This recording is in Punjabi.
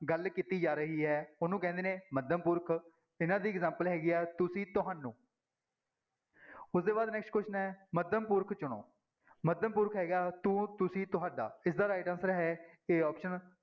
ਗੱਲ ਕੀਤੀ ਜਾ ਰਹੀ ਹੈ ਉਹਨੂੰ ਕਹਿੰਦੇ ਨੇ ਮੱਧਮ ਪੁਰਖ, ਇਹਨਾਂ ਦੀ example ਹੈਗੀ ਹੈ ਤੁਸੀਂ, ਤੁਹਾਨੂੰ ਉਸਦੇ ਬਾਅਦ next question ਹੈ ਮੱਧਮ ਪੁਰਖ ਚੁਣੋ, ਮੱਧਮ ਪੁਰਖ ਹੈਗਾ ਤੂੰ, ਤੁਸੀਂ, ਤੁਹਾਡਾ ਇਸਦਾ right answer ਹੈ a option